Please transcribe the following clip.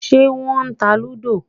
Ṣé wọ́n ta lúdò?